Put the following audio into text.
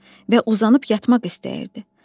Və uzanıb yatmaq istəyirdi.